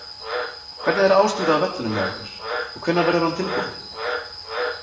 Hvernig er ástandið á vellinum hjá ykkur og hvenær verður hann tilbúinn?